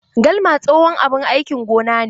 Galma tsohon abin aikin gona ne.